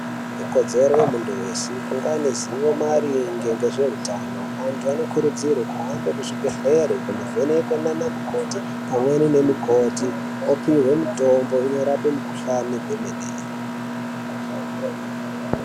Ikodzero yemundu weshe kunganezivo maringe ngezveutano, andu vanokurudzirwa kuhambe kuzvibhedlera kundovhenekwa nanamukoti pamwenemikoti opihwe mitombo inorape mukuhlani kwemwene.